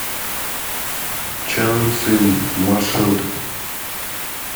чан цин маршрут